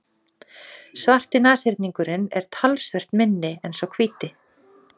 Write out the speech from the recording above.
Svarti nashyrningurinn er talsvert minni en sá hvíti.